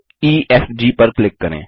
त्रिकोण ईएफजी पर क्लिक करें